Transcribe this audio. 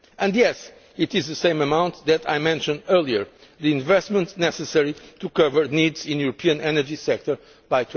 And, yes, it is the same amount that I mentioned earlier the investments necessary to cover the needs in the European energy sector